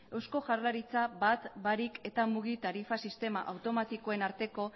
eusko jaurlaritza bat barik eta mugi tarifa sistema automatikoen arteko